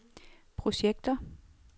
projekter